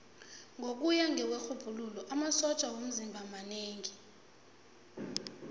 ngokuya kwerhubhululo amasotja womzimba manengi